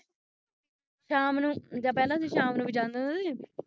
ਸ਼ਾਮ ਨੂੰ ਜਾ ਬਹਿੰਦਾ ਸੀ ਸ਼ਾਮ ਨੂੰ ਵੀ ਜਾਂਦਾ ਥੋੜ੍ਹੀ ਸੀ